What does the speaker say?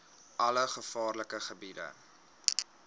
alle gevaarlike gebiede